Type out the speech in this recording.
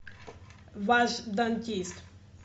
вашъ дантист